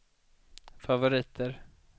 favoriter